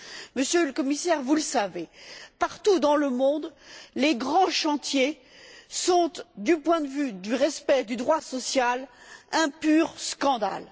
Monsieur le Commissaire, vous le savez, partout dans le monde, les grands chantiers sont, du point de vue du respect du droit social, un pur scandale.